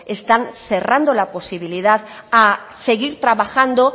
están cerrando la posibilidad a seguir trabajando